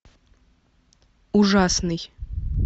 ужасный